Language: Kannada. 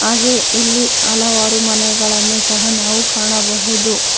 ಹಾಗೆ ಇಲ್ಲಿ ಹಲವಾರು ಮನೆಗಳನ್ನು ಸಹ ನಾವು ಕಾಣಬಹುದು.